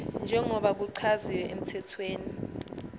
njengoba kuchaziwe emthethweni